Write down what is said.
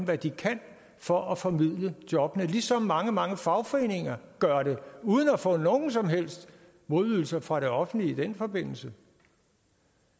hvad de kan for at formidle jobbene ligesom mange mange fagforeninger gør det uden at få nogen som helst modydelser fra det offentlige i den forbindelse